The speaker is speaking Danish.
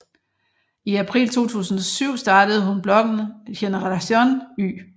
I april 2007 startede hun bloggen Generación Y